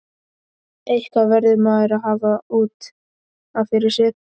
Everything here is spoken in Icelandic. Eitthvað verður maður að hafa út af fyrir sig.